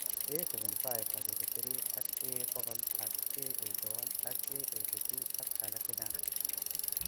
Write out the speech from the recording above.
A75/83 ak A100 ak A81 ak A82 ak alak chechang'